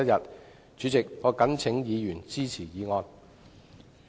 代理主席，我謹請議員支持議案。